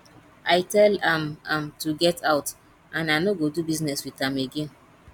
i tell am am to get out and i no go do business with am again